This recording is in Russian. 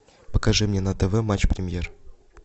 покажи мне на тв матч премьер